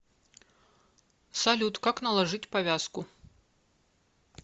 салют как наложить повязку